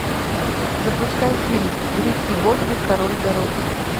запускай фильм рики бобби король дороги